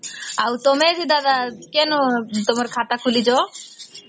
ଆଉ ତମେ ବି ଦାଦା କେନ ତମର ଖାତା ଖୋଲିଚ ?